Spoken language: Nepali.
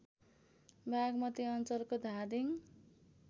बागमती अञ्चलको धादिङ